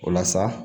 O la sa